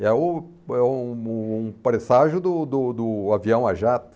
É um é um um presságio do do do avião a jato.